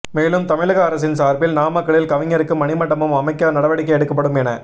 மேலும் தமிழக அரசின் சார்பில் நாமக்கலில் கவிஞருக்கு மணிமண்டபம் அமைக்க நடவடிக்கை எடுக்கப்படும் என